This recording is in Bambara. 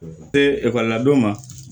Ee ekɔli la don ma